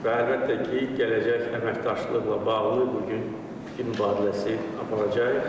Və əlbəttə ki, gələcək əməkdaşlıqla bağlı bu gün fikir mübadiləsi aparacağıq.